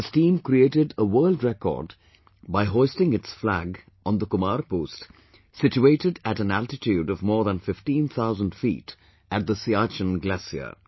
This team created a world record by hoisting its flag on the Kumar Post situated at an altitude of more than 15 thousand feet at the Siachen glacier